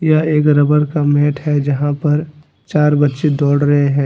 यह एक रबर का मैट है। जहां पर चार बच्चें दौड़ रहे हैं।